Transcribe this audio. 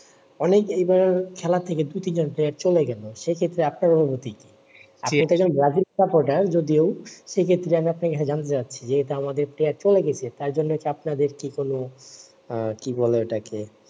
অনেক এই বার খেলা থেকে দু তিন জন player চলে গেলো সে ক্ষেত্রে আপনার অনুভুতি কি একজন ব্রাজিল supporter যদিও সে ক্ষেত্রে আমি আপনার কাছে জানতে চাচ্ছি যেহেতু আমাদের থেকে ছেড়ে চলে গেছে তার জন্যে কি আপনাদের কি কোনো কি বলে ওটাকে